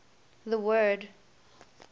the word